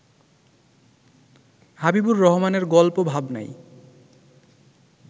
হাবিবুর রহমানের গল্প ভাবনায়